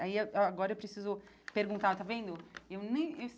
Aí a agora eu preciso perguntar, está vendo? eu nem eu